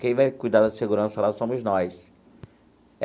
Quem vai cuidar da segurança lá somos nós.